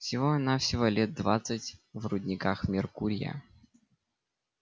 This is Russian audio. всего-навсего лет двадцать в рудниках меркурия